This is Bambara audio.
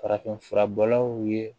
Farafinfura bɔlaw ye